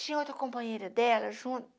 Tinha outra companheira dela junto.